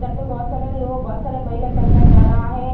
इधर पे बहोत सारे लोग बहोत सारे महिला चल कर जा रहा है।